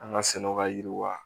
An ka sɛnɛw ka yiriw